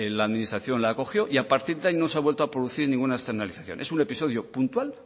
la administración la acogió y a partir de ahí no se ha vuelto ninguna externalización es un episodio puntual